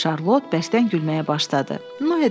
Şarlot bəsdən gülməyə başladı, Noe də ona qoşuldu.